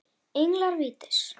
Englar vítis